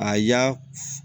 A y'a